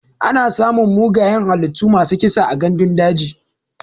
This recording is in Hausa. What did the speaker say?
Ana samun mugayen halittu masu kisa a gandun daji.